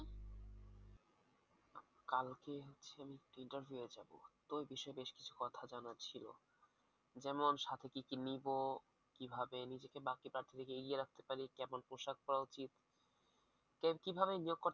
কালকে আমি হচ্ছে একটা ইন্টারভিউ আছে আপু তো ওই বিষয়ে বেশ কিছু কথা জানার ছিল যেমন সাথে কি কি নেব কিভাবে নিজেকে বাকি প্রার্থীদের থেকে এগিয়ে রাখতে পারি কেমন পোশাক পরা উচিত কিভাবে নিয়োগকর্তার,